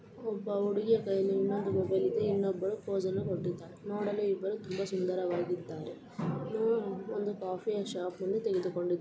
ಒಬ್ಬ ಹುಡುಗಿಯ ಕೈಯಲ್ಲಿ ಇನ್ನೊಂದು ಮೊಬೈಲ್ ಇದೆ. ಇನ್ನೊಬ್ಬಳು ಫೋಸ್ಅನ್ನು ಕೊಟ್ಟಿದಾಳೆ ನೋಡಲು ಇಬ್ಬರು ತುಂಬಾ ಸುಂದರವಾಗಿದ್ದಾರೆ. ಉಹ್ ಒಂದು ಕಾಫಿಯ ಶಾಪ್ ಮುಂದೆ ತೆಗೆದುಕೊಂಡಿ--